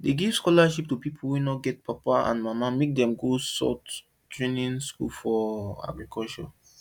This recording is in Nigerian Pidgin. dem give scholarships to people wey no get papa and mama make dem go short training school for agriculture